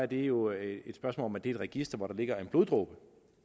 det er jo et spørgsmål om at det register hvor der ligger en bloddråbe